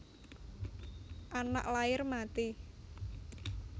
Anak lair mati